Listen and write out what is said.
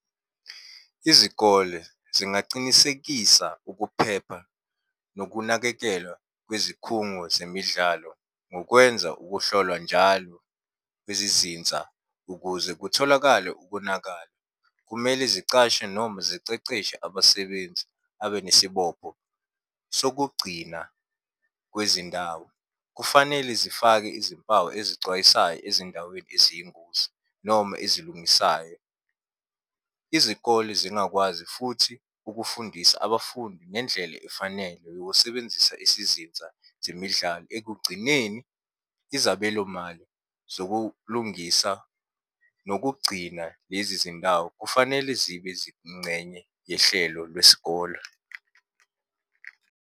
Izikole zingacinisekisa ukuphepha nokunakekelwa kwezikhungo zemidlalo ngokwenza ukuhlolwa njalo kwezizinza ukuze kutholakale ukonakala. Kumele zicashe noma ziceceshe abasebenzi abe nesibopho sokugcina kwezindawo. Kufanele zifake izimpawu ezicwayisayo ezindaweni eziyingozi, noma ezilungisayo. Izikole zingakwazi futhi ukufundisa abafundi ngendlela efanele yokusebenzisa isizinza zemidlalo. Ekugcineni, izabelo mali zokulungisa nokugcina lezi zindawo kufanele zibe zingcenye yehlelo lwesikole.